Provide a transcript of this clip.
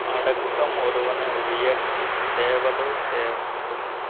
அடக்கம் ஒருவனை உயர்த்தி தேவருள் சேர்க்கும்